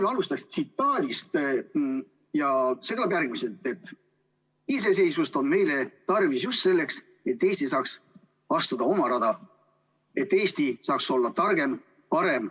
Ma alustaksin tsitaadist, see kõlab järgmiselt: "Iseseisvust on meil tarvis just selleks, et Eesti saaks astuda oma rada /---/, et Eesti saaks olla kõige targem ja parem.